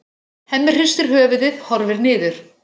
Hemmi hristir höfuðið, horfir niður.